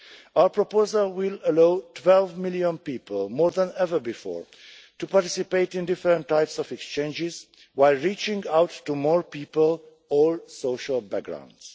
Our proposal will allow 12 million people, more than ever before, to participate in different types of exchanges while reaching out to more people of all social backgrounds.